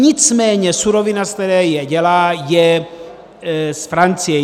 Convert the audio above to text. Nicméně surovina, ze které je dělá, je z Francie.